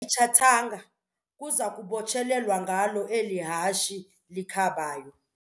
Ityathanga kuza kubotshelelwa ngalo eli hashe likhabayo.